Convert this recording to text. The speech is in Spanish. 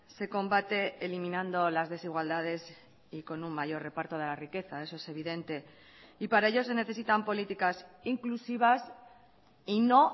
se combate eliminando las desigualdades y con un mayor reparto de la riqueza eso es evidente y para ello se necesitan políticas inclusivas y no